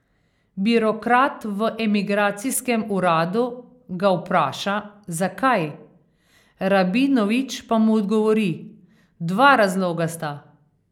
Birokrat v emigracijskem uradu ga vpraša, zakaj, Rabinovič pa mu odgovori: 'Dva razloga sta.